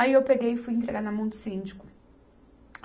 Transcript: Aí eu peguei e fui entregar na mão do síndico.